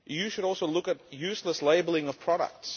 You should also look at useless labelling of products.